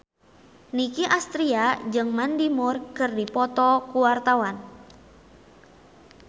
Nicky Astria jeung Mandy Moore keur dipoto ku wartawan